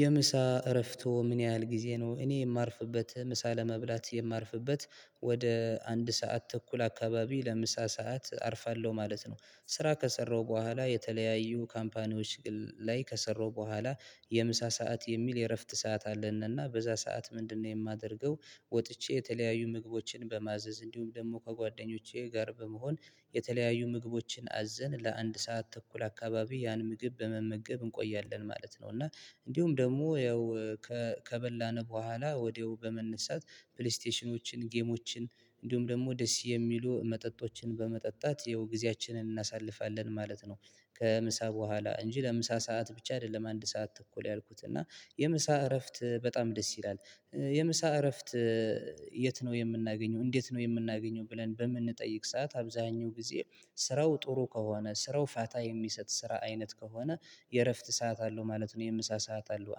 የምሳ እረፍቶ ምን ያህል ጊዜ ነው እኔ የማርፍበት ምሳ ለመብላት የማርፍበት ወደ አንድ ሰዓት ተኩል አካባቢ ለምሳ ሰዓት አርፋለሁ ማለት ነው። ስራ ከሰራሁ በኋላ የተለያዩ ካምፓኒዎች ላይ ከሰራው በኋላ የምሳ ሰዓት የሚል የእረፍት ሰዓት አለንና በዛ ሰዓት ምንድነው የማደርገው? ወጥቼ የተለያዩ ምግቦችን በማዘዝ እንዲሁም ደግሞ ከጓደኞቼ ጋር በመሆን የተለያዩ ምግቦችን አዘን ለአንድ ሰዓት ተኩል አካባቢ ያን ምግብ በመመገብ እንቆያለን ማለት ነው። እና እንዲሁም ደግሞ ያው ከበላን በኋላ ወዲያው በመነሳት ፕሌስቴሽኖችን ጌሞችን እንዲሁም ደግሞ ደስ የሚሉ መጠጦችን በመጠጣት ያው ጊዜያችንን እናሳልፋለን ማለት ነው። ከምሳ በኋላ እንጂ ለምሳ ሰዓት ብቻ አይደለም አንድ ሰዓት ተኩል ያልኩት እና የምሳ እረፍት በጣም ደስ ይላል። የምሳ እረፍት የት ነው የምናገኘው እንዴት ነው የምናገኘው? ብለን በምንጠይቅ ሰዓት አብዛኛው ጊዜ ስራው ጥሩ ከሆነ ስራው ፋታ የሚሰጥ ስራ አይነት ከሆነ የእረፍት ሰዓት አለው ማለት ነው። የምሳ ሰዓት አለው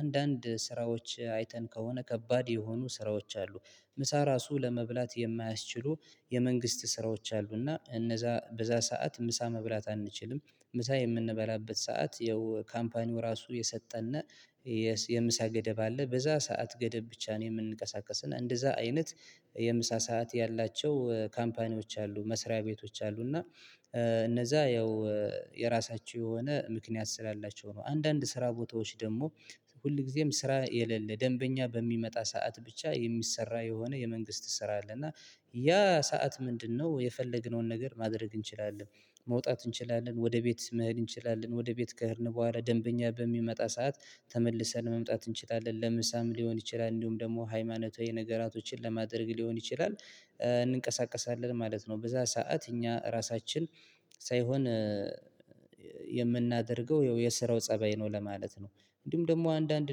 አንዳንድ ስራዎች አይተን ከሆነ ከባድ የሆኑ ስራዎች አሉ። ምሳ ራሱ ለመብላት የማያስችሉ የመንግስት ስራዎች አሉና እነዛ በዛ ሰዓት ምሳ መብላት አንችልም። ምሳ የምንበላበት ሰዓት ያው ካምፓኒው ራሱ የሰጠን የምሳ ገደብ አለ በዛ ሰዓት ገደብ ብቻ ነው የምንንቀሳቀሰና እንደዛ አይነት። የምሳ ሰዓት ያላቸው ካምፓኒዎች አሉ መስሪያ ቤቶች አሉ። እና እነዛ ያው የራሳቸው የሆነ ምክንያት ስላላቸው ነው አንዳንድ ስራ ቦታዎች ደግሞ ሁል ጊዜም ስራ የሌለ ደንበኛ በሚመጣ ሰዓት ብቻ የሚሰራ የሆነ የመንግስት ስራ አለ። እና ያ ሰዓት ምንድነው የፈለግነውን ነገር ማድረግ እንችላለን። መውጣት እንችላለን ወደ ቤት መሄድ እንችላለን ወደ ቤት ከሄድን በኋላ ደንበኛ በሚመጣ ሰዓት ተመልሰን መምጣት እንችላለን ለምሳም ሊሆን ይችላል እንዲሁም ደግሞ ሃይማኖታዊ ነገራቶችን ለማድረግ ሊሆን ይችላል እንንቀሳቀሳለን ማለት ነው። በዛ ሰዓት እኛ እራሳችን ሳይሆን የምናደርገው የስራው ፀባይ ነው ለማለት ነው። እንዲሁም ደግሞ አንዳንድ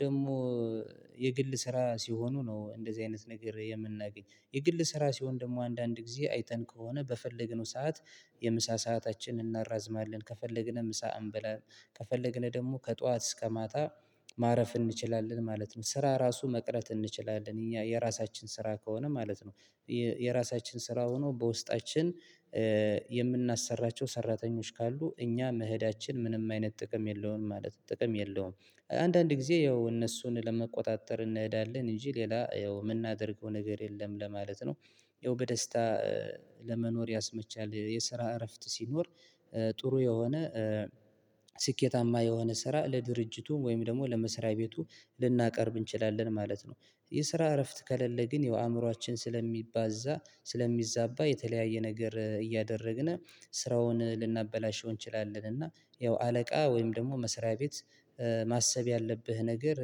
ደግሞ የግል ስራ ሲሆኑ ነው እንደዚህ አይነት ነገር የምናገኝ የግል ስራ ሲሆን ደግሞ አንዳንድ ጊዜ አይተን ከሆነ በፈለግነው ሰዓት። የምሳ ሰአታችንን እናራዝማለን ከፈለግን ምሳ እንበላም ከፈለግን ደግሞ ከጧት እስከ ማታ ማረፍ እንችላለን ማለት ነው። ስራ ራሱ መቅረት እንችላለን እኛ የራሳችን ስራ ከሆነ ማለት ነው። የራሳችን ስራ ሆኖ በውስጣችን የምናሰራቸው ሰራተኞች ካሉ እኛ መሄዳችን ምንም አይነት ጥቅም የለውም ማለት ጥቅም የለውም። አንዳንድ ጊዜ ያው እነሱን ለመቆጣጠር እንሄዳለን እንጂ ሌላ ያው የምናደርገው ነገር የለም ለማለት ነው። ያው በደስታ ለመኖር ያስመቻል የስራ እረፍት ሲኖር ጥሩ የሆነ ስኬታማ የሆነ ስራ ለድርጅቱም ወይም ደግሞ ለመስሪያ ቤቱ ልናቀርብ እንችላለን ማለት ነው። የስራ እረፍት ከሌለ ግን ያው አእምሮአችን ስለሚባዛ ስለሚዛባ የተለያየ ነገር እያደረግን ስራውን ልናበላሸው እንችላለን። እና ያው አለቃ ወይም ደግሞ መስሪያ ቤት ማሰብ ያለብህ ነገር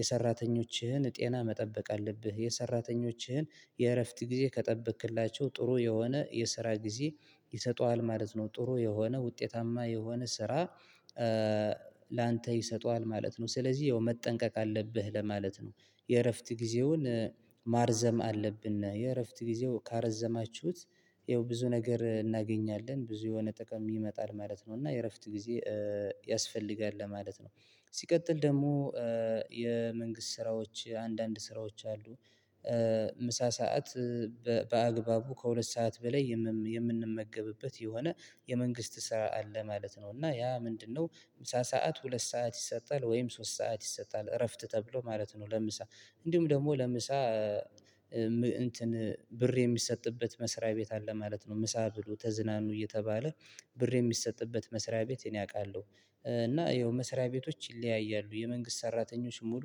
የሰራተኞችህን ጤና መጠበቅ አለብህ። የሰራተኞችህን የእረፍት ጊዜ ከጠበቅክላቸው ጥሩ የሆነ የስራ ጊዜ ይሰጡሃል ማለት ነው ጥሩ የሆነ ውጤታማ የሆነ ስራ። ላንተ ይሰጡሃል ማለት ነው ስለዚህ ያው መጠንቀቅ አለብህ ለማለት ነው። የእረፍት ጊዜውን ማርዘም አለብን ነው የእረፍት ጊዜው ካረዘማችሁት ይኸው ብዙ ነገር እናገኛለን ብዙ የሆነ ጥቅም ይመጣል ማለት ነው። እና የእረፍት ጊዜ ያስፈልጋል ለማለት ነው። ሲቀጥል ደግሞ የመንግስት ስራዎች አንዳንድ ስራዎች አሉ። ምሳ ሰዓት በአግባቡ ከሁለት ሰዓት በላይ የምንመገብበት የሆነ የመንግስት ስራ አለ ማለት ነው። እና ያ ምንድነው? ምሳ ሰዓት ሁለት ሰዓት ይሰጣል ወይም ሶስት ሰዓት ይሰጣል እረፍት ተብሎ ማለት ነው። ለምሳ እንዲሁም ደግሞ ለምሳ እንትን ብር የሚሰጥበት መስሪያ ቤት አለ ማለት ነው። ምሳ ብሉ ተዝናኑ እየተባለ ብር የሚሰጥበት መስሪያ ቤት እኔ አውቃለሁ። እና ይኸው መስሪያ ቤቶች ይለያያሉ። የመንግስት ሰራተኞች ሙሉ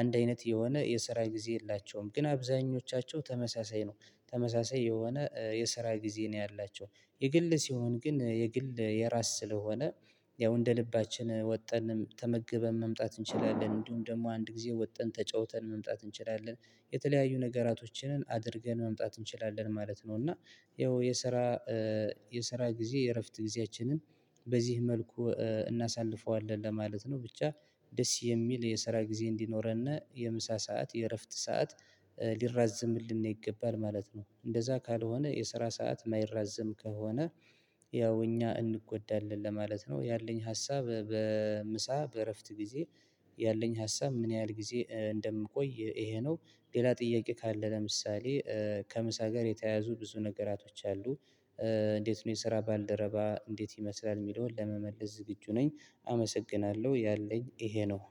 አንድ አይነት የሆነ የሰራ ጊዜ የላቸውም ግን አብዛኞቻቸው ተመሳሳይ ነው። ተመሳሳይ የሆነ የስራ ጊዜ ነው። ያላቸው የግል ሲሆን ግን የግል የራስ ስለሆነ ያው እንደ ልባችን ወጥተን ተመግበን መምጣት እንችላለን። እንዲሁም ደግሞ አንድ ጊዜ ወጥተን ተጫውተን መምጣት እንችላለን። የተለያዩ ነገራቶችን አድርገን መምጣት እንችላለን ማለት ነው እና ይኸው የስራ የስራ ጊዜ የእረፍት ጊዜያችንን በዚህ መልኩ እናሳልፈዋለን ለማለት ነው። ብቻ ደስ የሚል የስራ ጊዜ እንዲኖረን የምሳ ሰዓት የእረፍት ሰዓት ሊራዝምልን ይገባል ማለት ነው። እንደዛ ካልሆነ የስራ ሰዓት የማይራዘም ከሆነ ያው እኛ እንጎዳለን ለማለት ነው። ያለኝ ሀሳብ በምሳ በእረፍት ጊዜ ያለኝ ሀሳብ ምን ያህል ጊዜ እንደምቆይ ይሄ ነው። ሌላ ጥያቄ ካለ ለምሳሌ ከምሳ ጋር የተያዙ ብዙ ነገራቶች አሉ። እንዴት ነው የስራ ባልደረባ እንዴት ይመስላል የሚለውን ለመመለስ ዝግጁ ነኝ። አመሰግናለሁ ያለኝ ይሄ ነው።